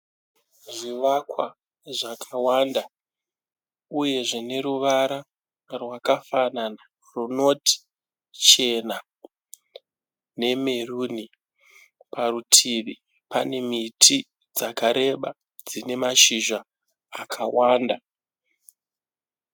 Zvivakwa zvakawanda uye zvine ruvara rwakafanana runoti chena nemeruni. Parutivi pane miti dzakareba dzine mashizha akawanda.